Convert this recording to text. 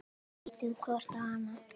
Við ýtum hvor á annan.